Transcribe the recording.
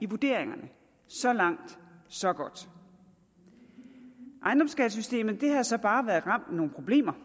vurderinger så langt så godt ejendomsskattesystemet har så bare været ramt af nogle problemer